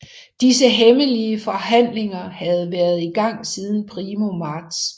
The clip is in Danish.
Disse hemmelige forhandlinger havde været i gang siden primo marts